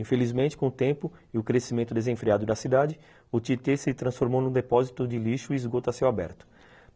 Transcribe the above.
Infelizmente, com o tempo e o crescimento desenfreado da cidade, o Tietê se transformou num depósito de lixo e esgoto a céu aberto.